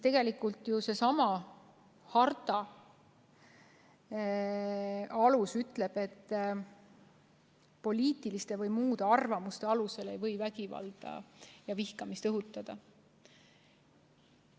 Tegelikult ju seesama harta alus ütleb, et poliitiliste või muude arvamuste alusel ei või vägivalda ja vihkamist õhutada.